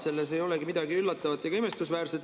Selles ei olegi midagi üllatavat ega imestusväärset.